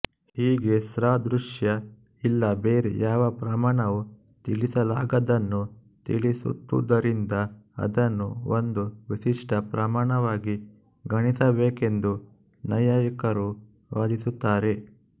ಹೀಗೆ ಸಾದೃಶ್ಯ ಇಲ್ಲ ಬೇರೆ ಯಾವ ಪ್ರಮಾಣವೂ ತಿಳಿಸಲಾಗದ್ದನ್ನು ತಿಳಿಸುತ್ತಾದುದರಿಂದ ಅದನ್ನು ಒಂದು ವಿಶಿಷ್ಟ ಪ್ರಮಾಣವಾಗಿ ಗಣಿಸಬೇಕೆಂದು ನೈಯಾಯಿಕರು ವಾದಿಸಿರುತ್ತಾರೆ